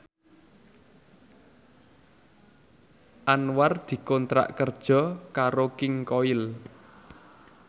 Anwar dikontrak kerja karo King Koil